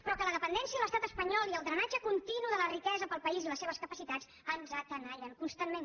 però que la dependència de l’estat espanyol i el drenatge continu de la riquesa pel país i les seves capacitats ens tenallen constantment